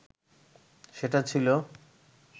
সেটা ছিল